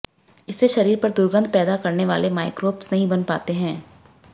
इससे शरीर पर दुर्गंध पैदा करनेवाले माइक्रोब्स नहीं बन पाते हैं